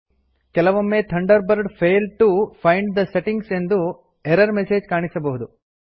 ಕೆಲವೊಮ್ಮೆ Thunderbird failed to find the settings ಎಂದು error message ಕಾಣಸಿಗಬಹುದು